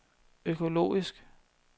økologisk